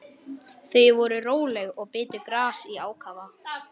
Þau voru róleg og bitu gras í ákafa.